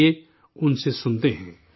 آئیے ان سے سنتے ہیں